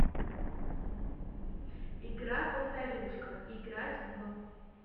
игра повторюшка играть в